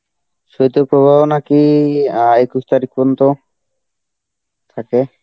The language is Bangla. শৈত্য প্রবাহ নাকি অ্যাঁ একুশ তারিখ পর্যন্ত থাকে?